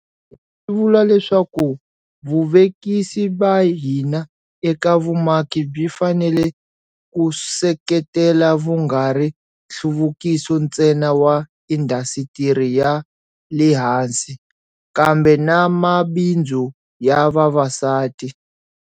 Swi vula leswaku vuvekisi ba hina eka vumaki byi fanele ku seketela vungari nhluvukiso ntsena wa indhasitiri ya le hansi, kambe na mabindzu ya vavasati.